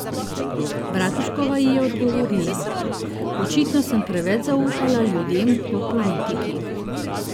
Bratuškova ji je odgovorila: 'Očitno sem preveč zaupala ljudem v politiki.